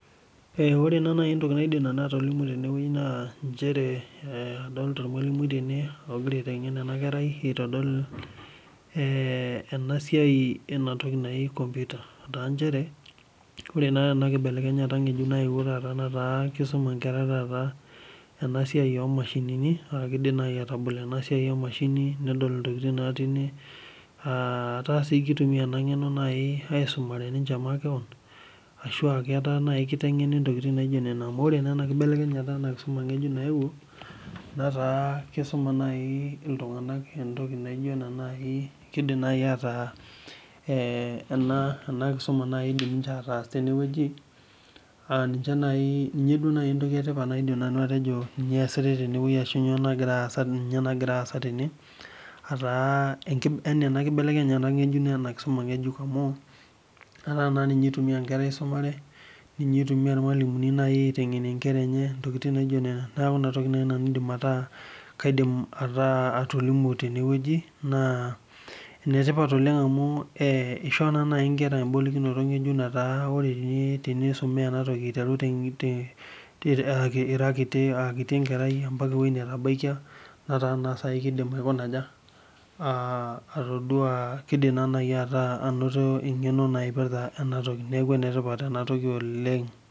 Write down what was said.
Ee ore naa entoki naidim nanu atolimu tene wueeii naa nchere adolta ormwalimui tene oigira aitengen ena kerai egira aitodol ena siaai ena toki naji computer, taa nchere ore naa tena kibelekenyata ngejuk naewuo netaa kisuma inkera ena siaai ooh mashinini, aa keidim naai atabol ena siaai enashini, nedol intokitin natii ine aah taa kutumia ena ngeno aisumare ninche makewon, ashuaa ataa naai kitengeni intokin naijo nena, amu kore ena kibelekenyata ena kisuma ngejuk naewuo netaa kisuma Iltungana entoki naijo enaa naaii, keidim naii ataa eeh ena kisuma naai idim ninche ataas tene wueji aa ninche naaii ninye naaji entoki etipat naidim nanu atejo ninye eesutae tene wueji ashu nyoo nagira aaza tene, ataa kibelekenyata ena kisuma ngejuk amu etaa naa ninye aitumia nkera aisumare, ninye itumia irmwalimuni aitengenie nkera enye neeku nena tokitin naji nanu adim ataa kaidim ataa atolimu tene wueji naa enetipat oleng amuu ee ishoo naa naaai inkera ebolokinoto ngejuk aa taa tenisume ena toki aiteru ira kiti era kiti enkarai mpaka ewueeii netabaikia netaa naa saiibkidim akuna aja, as atoduaa keidim anoto eng'eno naipirrta ena toki oleng.